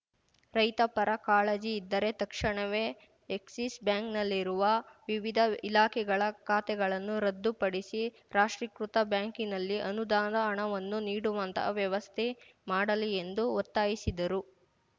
ರೈತ ಪರ ಕಾಳಜಿ ಇದ್ದರೆ ತಕ್ಷಣವೇ ಎಕ್ಸಿಸ್‌ ಬ್ಯಾಂಕ್‌ನಲ್ಲಿರುವ ವಿವಿಧ ಇಲಾಖೆಗಳ ಖಾತೆಗಳನ್ನು ರದ್ಧುಪಡಿಸಿ ರಾಷ್ಟ್ರೀಕೃತ ಬ್ಯಾಂಕಿನಲ್ಲಿ ಅನುದಾನದ ಹಣವನ್ನು ಇಡುವಂತಹ ವ್ಯವಸ್ಥೆ ಮಾಡಲಿ ಎಂದು ಒತ್ತಾಯಿಸಿದರು